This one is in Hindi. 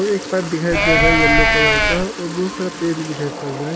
एक पाइप दिखाई दे रहा है येलो कलर का और बहुत सारा पेड़ भी दिखाई पड़ रहा है।